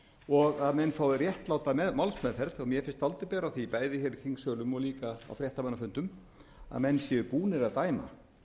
og að menn fái réttláta málsmeðferð og mér finnst dálítið bera á því bæði í þingsölum og líka á fréttamannafundum að menn séu búnir að dæma